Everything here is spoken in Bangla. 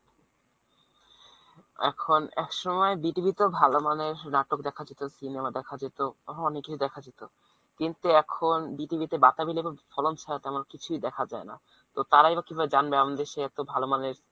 এখন একসময় BTV তেও ভালমানের নাটক দেখা যেত cinema দেখা যেত আরো অনেক কিছু দেখা যেত কিন্তু এখন BTV তে বাতাবিলেবুর ফলন ছাড়া তেমন কিছুই দেখা যায় না। তো তারাই বা কিভাবে জানবে আমাদের দেশে এত ভাল মানের